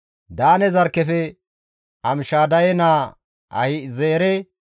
Daane zarkkefe Amishadaye naa Ahi7ezeere,